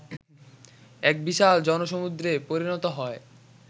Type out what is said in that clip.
এক বিশাল জনসমুদ্রে পরিণত হয়